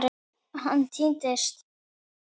Hann týnst?